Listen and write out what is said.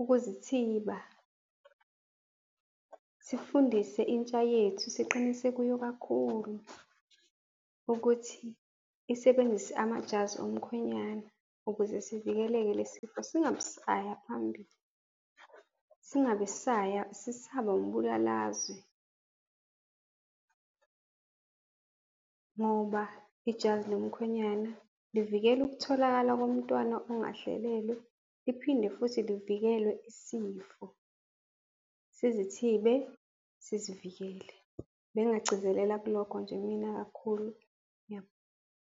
ukuzithiba. Sifundise intsha yethu, siqinise kuyo kakhulu ukuthi isebenzise amajazi omkhwenyana ukuze sivikeleke le sifo, singabe sisaya phambili, singabe sisaya, sesaba umbulalazwe ngoba ijazi lomkhwenyana livikela ukutholakala komntwana ongahlelelwe, liphinde futhi livikele isifo, sizithibe, sizivikele. Bengingagcizelela kulokho nje mina kakhulu .